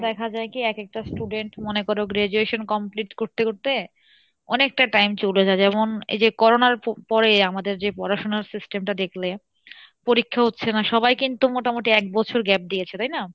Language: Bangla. দেখা যাই কী এক একটা student মনে করো graduation complete করতে করতে অনেকটা time চলে যাই যেমন এইযে Corona র প~পরে আমাদের যে পড়াশোনার system টা দেখলে, পরীক্ষা হচ্ছে না সবাই কিন্তু মোটামোটি এক বছর gap দিয়েছে তাই না?